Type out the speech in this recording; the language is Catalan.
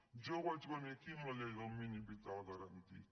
jo vaig venir aquí amb la llei del mínim vital garantit